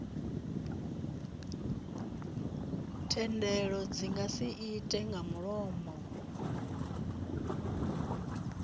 thendelo dzi nga irte nga mulomo